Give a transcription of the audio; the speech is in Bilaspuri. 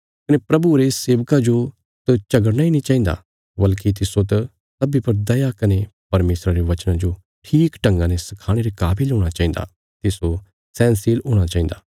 कने प्रभुये रे सेवका जो त झगड़ना इ नीं चहिन्दा वल्कि तिस्सो त सब्बीं पर दया कने परमेशरा रे वचना जो ठीक ढंगा ने सखाणे रे काविल हूणा चाहिन्दा तिस्सो सैहनशील हूणा चहिन्दा